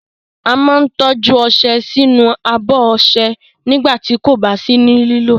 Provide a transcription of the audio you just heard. A máa ń tọ́jú ọṣẹ sínú abọ́ ọṣẹ nígbà tí kò bá sí ní lílò.